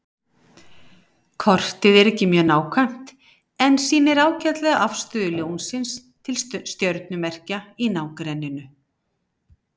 Kortið er ekki mjög nákvæmt en sýnir ágætlega afstöðu Ljónsins til stjörnumerkja í nágrenninu.